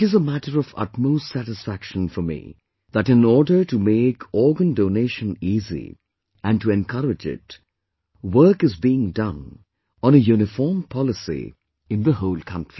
It is a matter of utmost satisfaction for me that in order to make organ donation easy and to encourage it, work is being done on a uniform policy in the whole country